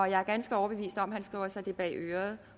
jeg er ganske overbevist om at han skriver sig det bag øret